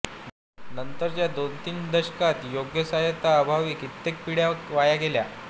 नंतरच्या दोन तीन दशकात योग्य सहाय्या अभावी कित्येक पीड्या वाया गेल्या